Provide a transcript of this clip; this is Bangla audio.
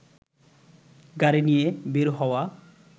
গাড়ি নিয়ে বের হওয়া